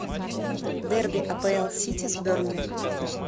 дерби апл сити с бернли